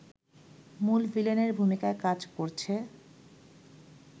মূল ভিলেনের ভূমিকায় কাজ করছে